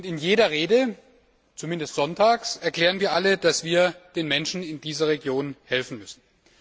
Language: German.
In jeder Rede zumindest sonntags erklären wir alle, dass wir den Menschen in dieser Region helfen müssen.